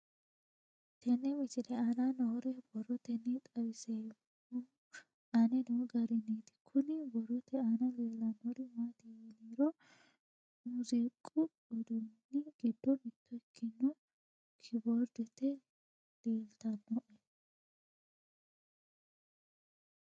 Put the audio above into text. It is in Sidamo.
Tenne misile aana noore borroteni xawiseemohu aane noo gariniiti. Kunni borrote aana leelanori maati yiniro musiqu uduunni giddo mitto ikkinno keyboarde leeltanoe.